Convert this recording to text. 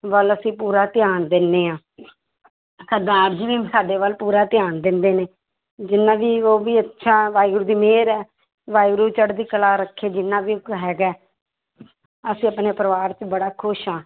ਵੱਲ ਅਸੀਂ ਪੂਰਾ ਧਿਆਨ ਦਿੰਦੇ ਹਾਂ ਸਰਦਾਰ ਜੀ ਵੀ ਸਾਡੇ ਵੱਲ ਪੂਰਾ ਧਿਆਨ ਦਿੰਦੇ ਨੇ, ਜਿੰਨਾ ਵੀ ਉਹ ਵੀ ਅੱਛਾ ਵਾਹਿਗੂਰੂ ਦੀ ਮਿਹਰ ਹੈ, ਵਾਹਿਗੁਰੂ ਚੜ੍ਹਦੀ ਕਲਾ ਰੱਖੇ ਜਿੰਨਾ ਵੀ ਹੈਗਾ ਹੈ ਅਸੀਂ ਆਪਣੇ ਪਰਿਵਾਰ 'ਚ ਬੜਾ ਖ਼ੁਸ਼ ਹਾਂ।